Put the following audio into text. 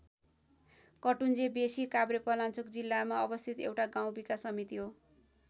कटुन्जे बेँसी काभ्रेपलाञ्चोक जिल्लामा अवस्थित एउटा गाउँ विकास समिति हो।